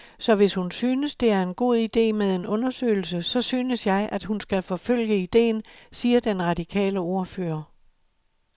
Så hvis hun synes, det er en god ide med en undersøgelse, så synes jeg, at hun skal forfølge idéen, siger den radikale ordfører.